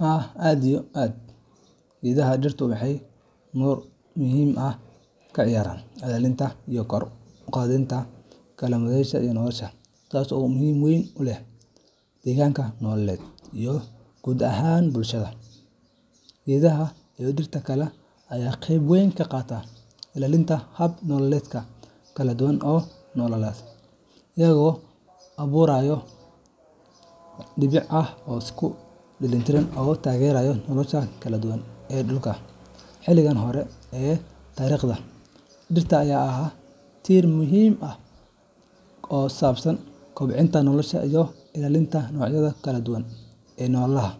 Haa aad iyo aad ,Geedaha dhirtu waxay door muhiim ah ka ciyaaraan ilaalinta iyo kor u qaadida kaladuwananshaha nolosha, taasoo muhiimad weyn u leh deegaanka, noolaha, iyo guud ahaan bulshada. Geedaha iyo dhirta kale ayaa qayb weyn ka qaata ilaalinta hab nololeedyo kala duwan oo noolaha, iyagoo abuura nidaamyo dabiici ah oo isku dheelitiran oo taageera nolosha kala duwan ee dhulka. Xilliyada hore ee taariikhda, dhirta ayaa ahaa tiir muhiim ah oo ku saabsan kobcinta nolosha iyo ilaalinta noocyada kala duwan ee noolaha.